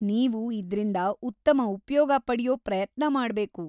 ನೀವು ಇದ್ರಿಂದ ಉತ್ತಮ ಉಪ್ಯೋಗ ಪಡ್ಯೋ ಪ್ರಯತ್ನ ಮಾಡ್ಬೇಕು.